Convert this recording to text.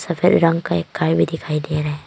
हरे रंग का एक कार भी दिखाई दे रहा है।